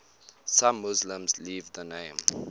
some muslims leave the name